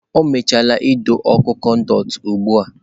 O mechaala ido okụ konduiti ugbu a.